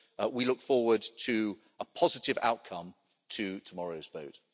We look forward to a positive outcome to tomorrow's vote.